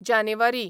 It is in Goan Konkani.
जानेवारी